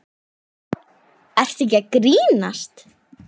Ertu ekki að grínast?